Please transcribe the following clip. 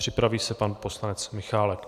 Připraví se pan poslanec Michálek.